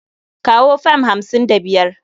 Kawo fam hamsin da biyar.